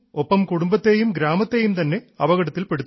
ഒപ്പം കുടുംബത്തേയും ഗ്രാമത്തേയും അപകടത്തിൽപ്പെടുത്തുന്നു